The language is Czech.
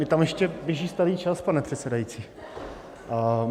Mně tam ještě běží starý čas, pane předsedající...